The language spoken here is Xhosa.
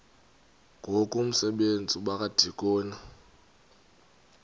ngoku umsebenzi wabadikoni